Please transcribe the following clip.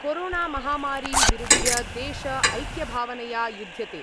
कोरोणामहामारीं विरुध्य देश ऐक्यभावनया युध्यते।